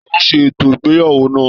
Taló se ètò ìgbéyàwó náà?